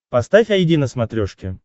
поставь айди на смотрешке